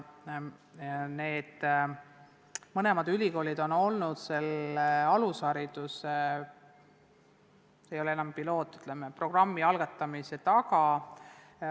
Ja need mõlemad ülikoolid on olnud selle alushariduse mitte enam pilootprogrammi, vaid, ütleme, programmi algatamise taga.